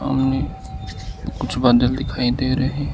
सामने कुछ बादल दिखाई दे रहे हैं।